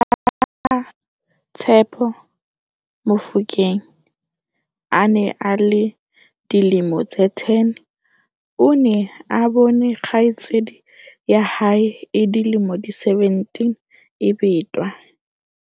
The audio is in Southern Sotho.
Ha Tshepo Mofokeng a ne a le dilemo tse 10, o ne a bone kgaitsedi ya hae e dilemo di 17 e betwa.